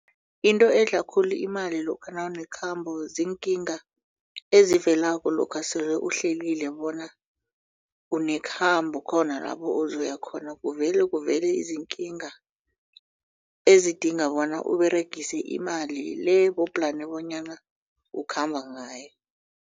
Into edla khulu imali lokha nawunekhabo ziinkinga ezivelako lokha sele uhlelile bona uneekhambo khona lapho uzoya khona kuvele kuvele izinkinga ezidinga bona uberegise imali le bowu-plan bonyana ukhamba ngayo.